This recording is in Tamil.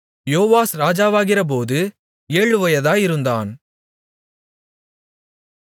யோவாஸ் ராஜாவாகிறபோது ஏழு வயதாயிருந்தான்